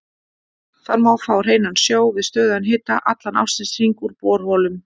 Þar má fá hreinan sjó við stöðugan hita allan ársins hring úr borholum.